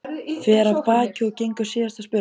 Fer af baki og gengur síðasta spölinn.